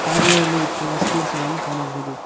ಕಾಜುಗಳಲ್ಲಿ ಇಟ್ಟಿರುವ ಸ್ವೀಟ್ಸ್ ಗಳನ್ನು ಕಾಣಬಹುದು.